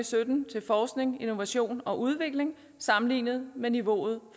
sytten til forskning innovation og udvikling sammenlignet med niveauet